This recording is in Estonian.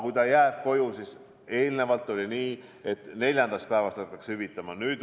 Kui ta jääb koju, siis eelnevalt oli nii, et neljandast päevast hakatakse hüvitama.